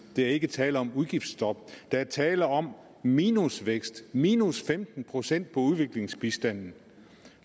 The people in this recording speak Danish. er ikke tale om et udgiftsstop der at tale om minusvækst minus femten procent på udviklingsbistanden